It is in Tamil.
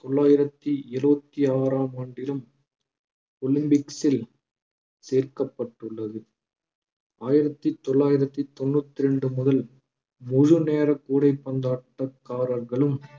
தொள்ளாயிரத்தி எழுபத்தி ஆறாம் ஆண்டிலும் ஒலிம்பிக்ஸில் சேர்க்கப்பட்டுள்ளது ஆயிரத்தி தொள்ளாயிரத்தி தொண்ணூத்தி ரெண்டு முதல் முழு நேர கூடைப்பந்தாட்டக்காரர்களும்